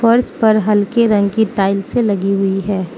और इसपर हल्के रंग की टाइल्से लगी हुई हैं।